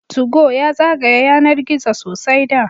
Tugo ya zagaya yanar gizo sosai da